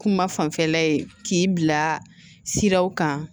Kuma fanfɛla ye k'i bila siraw kan